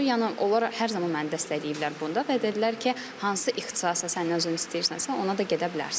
Yəni onlar hər zaman məni dəstəkləyiblər bunda və dedilər ki, hansı ixtisasda sən özün istəyirsənsə, ona da gedə bilərsən.